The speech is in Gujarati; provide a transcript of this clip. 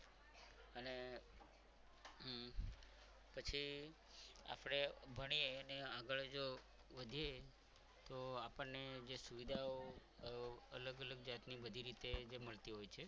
અને પછી આપણે ભણીએ ને આગળ જો વધીએ તો આપણને જે સુવિધાઓ અલગ અલગ જાતની બધી રીતે જે મળતી હોય છે.